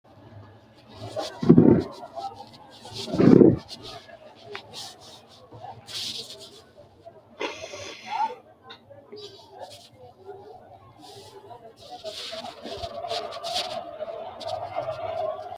Musiliime waajule udidhe diru diruni uurite umonsa heeshi yite alahi maganitani afantano gede tene misilera seekine buunxe la`noomo uaate yineemo.